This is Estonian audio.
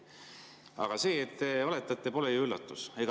Aga see, et te valetate, pole ju üllatus.